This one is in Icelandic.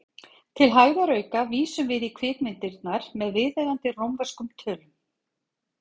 Til hægðarauka vísum við í kvikmyndirnar með viðeigandi rómverskum tölum.